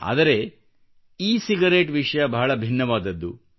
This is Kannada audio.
ಆದರೆ ಇ ಸಿಗರೇಟ್ ವಿಷಯ ಬಹಳ ಭಿನ್ನವಾದದ್ದು